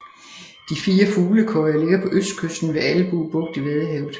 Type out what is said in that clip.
De fire fuglekøjer ligger på østkysten ved Albue Bugt i Vadehavet